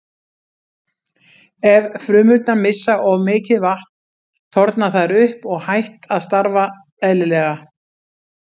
Ef frumurnar missa of mikið vatn þorna þær upp og hætt að starfa eðlilega.